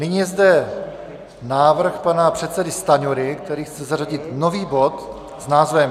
Nyní je zde návrh pana předsedy Stanjury, který chce zařadit nový bod s názvem...